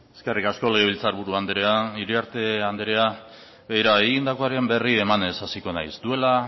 eskerrik asko legebiltzar buru andrea iriarte andrea begira egindakoaren berri emanez hasiko naiz duela